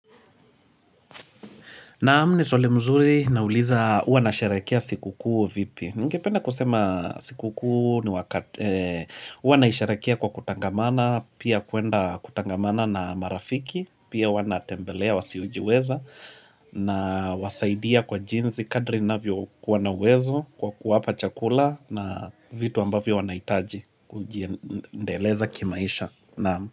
Naam ni swali mzuri na uliza uanasharekia siku kuu vipi. Ningependa kusema siku kuu ni wakati. Huanasharekea kwa kutangamana, pia kuenda kutangamana na marafiki, pia wana tembelea, wasi ujiweza, na wasaidia kwa jinzi kadri na vyo kuwanawezo, kwa kuwapa chakula na vitu ambavyo wanaitaji, kujiendeleza kimaisha.